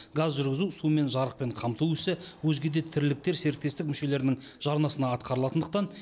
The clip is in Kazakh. газ жүргізу сумен жарықпен қамту ісі өзге де тірліктер серіктестік мүшелерінің жарнасына атқарылатындықтан